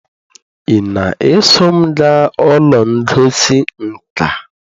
ị na-eso m gaa ụlọ ngosi nka?